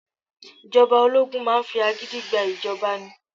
Ìjọba ológun máa ń fi agídí gba ìjọba ni.